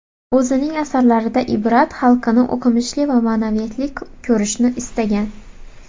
O‘zining asarlarida Ibrat xalqini o‘qimishli va ma’naviyatli ko‘rishni istagan.